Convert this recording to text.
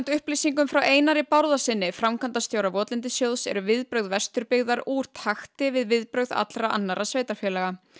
upplýsingum frá Einari Bárðarsyni framkvæmdastjóra votlendissjóðs eru viðbrögð Vesturbyggðar úr takti við viðbrögð allra annarra sveitarfélaga